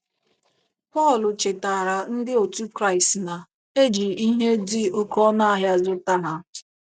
Pọl chetaara ndị òtù Kraịst na “ e ji ihe dị oké ọnụ ahịa zụta ha"